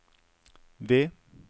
V